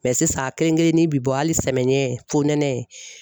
sisan kelen kelennin bi bɔ hali samiyɛ fo nɛnɛ